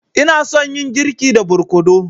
Ina son yin girki da barkono.